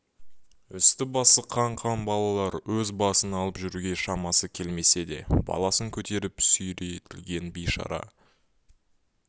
үсті басы қан-қан балалар өз басын алып жүруге шамасы келмесе де баласын көтеріп сүйретілген бейшара